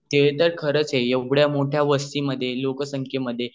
ते तर खरच आहे एवढ्या मोठ्या वस्ती मधे लोक्संखेमध्ये